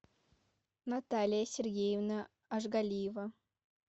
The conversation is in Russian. наталья сергеевна ашгалиева